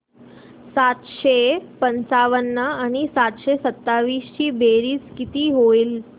सातशे पंचावन्न आणि सातशे सत्तावीस ची बेरीज किती होईल